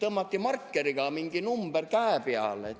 Tõmmati markeriga mingi number käe peale!